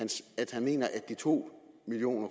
han mener at de to million